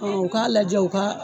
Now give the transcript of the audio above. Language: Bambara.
Ɔn u ka lajɛ u ka